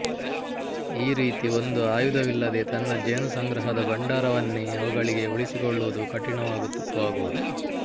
ಈ ರೀತಿ ಒಂದು ಆಯುಧವಿಲ್ಲದೇ ತನ್ನ ಜೇನು ಸಂಗ್ರಹದ ಭಂಡಾರವನ್ನೇ ಅವುಗಳಿಗೆ ಉಳಿಸಿಕೊಳ್ಳುವುದು ಕಠಿಣವಾಗುವುದು